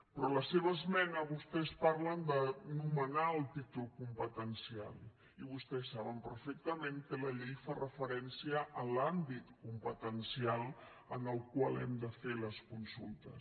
però a la seva esmena vostès parlen de nomenar el títol competencial i vostès saben perfectament que la llei fa referència a l’àmbit competencial en el qual hem de fer les consultes